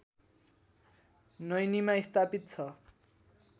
नैनीमा स्थापित छ